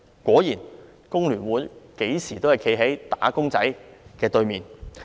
果然，工聯會任何時候均站在"打工仔"的"對面"。